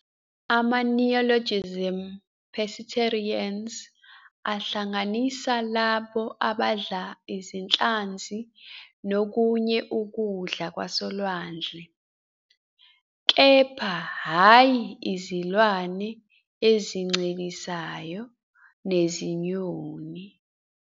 Ama-neologism pescetarians ahlanganisa labo abadla izinhlanzi nokunye ukudla kwasolwandle, kepha hhayi izilwane ezincelisayo nezinyoni.